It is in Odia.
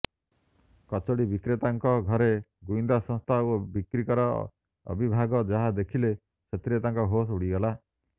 କଚୋଡି ବିକ୍ରେତାଙ୍କ ଘରେ ଗୁଇନ୍ଦା ସଂସ୍ଥା ଓ ବିକ୍ରିକର ଅବିଭାଗ ଯାହା ଦେଖିଲେ ସେଥିରେ ତାଙ୍କ ହୋସ ଉଡ଼ିଗଲା